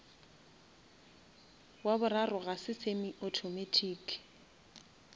wa boraro ga se semi automatic